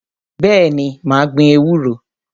Bẹ́ẹ̀ni, mà á gbin ewúro.